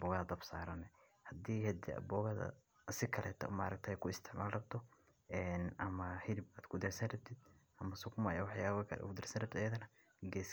booogaa dab saaranyo. Haddii hadda booogada si kale taasmaarayta ku isticmaal rabto.